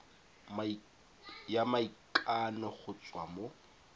ya maikano go tswa mo